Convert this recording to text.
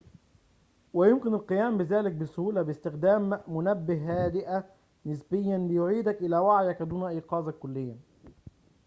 ويمكن القيام بذلك بسهولة باستخدام منبه هادئة نسبياً ليُعيدك إلى وعيك دون إيقاظك كلياً